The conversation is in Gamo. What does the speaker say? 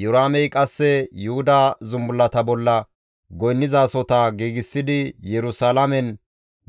Iyoraamey qasse Yuhudan zumbullata bolla goynnizasohota giigsidi Yerusalaamen